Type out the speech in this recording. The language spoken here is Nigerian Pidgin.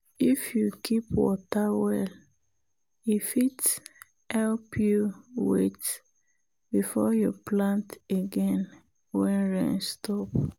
if you keep water well e fit help you wait before you plant again when rain stop.